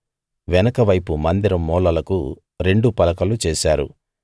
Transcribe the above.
వెనుక వైపు మందిరం మూలలకు రెండు పలకలు చేశారు